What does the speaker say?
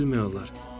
Nə bilmək olar?